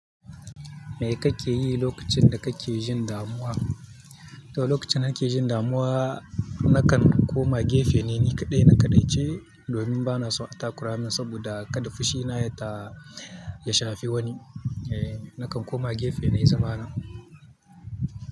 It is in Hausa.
Me kake yi lokacin da kake jin damuwa? To lokacin da nake jin damuwa, nakan koma gefe neni kaɗai na kaɗaice domin bana son attakura min saboda kada fushina ta ya shafi wani. E, nakan koma gefe nai zamana.